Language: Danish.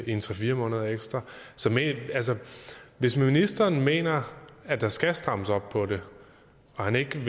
en tre fire måneder ekstra hvis ministeren mener at der skal strammes op på det og han ikke